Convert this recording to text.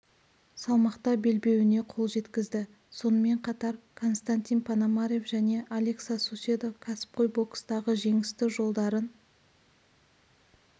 салмақта белбеуіне қол жеткізді сонымен қатар константин пономарев және алекса суседо кәсіпқой бокстағы жеңісті жолдарын